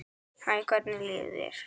Hæ, hvernig líður þér?